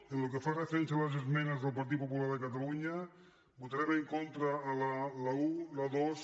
pel que fa referència a les esmenes del partit popular de catalunya votarem en contra de la un la dos